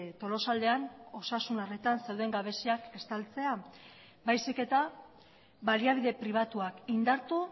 tolosaldean osasun arretan zeuden gabeziak estaltzea baizik eta baliabide pribatuak indartu